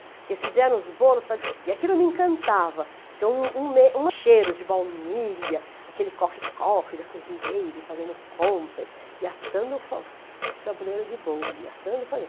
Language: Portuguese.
Porque fizeram os bolos, e aquilo me encantava, porque um, um cheiro de baunilha, aquele corre-corre da cozinheira, e fazendo compras, e assando o tabuleiro de bolo, e assando